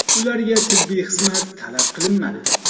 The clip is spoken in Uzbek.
Ularga tibbiy xizmat talab qilinmadi.